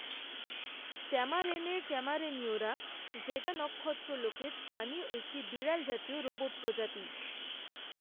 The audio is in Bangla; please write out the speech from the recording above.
ট্যামারেনের ট্যামারেনীয়রা ভেগা নক্ষত্রলোকের স্থানীয় একটি বিড়াল জাতীয় রোবট প্রজাতি।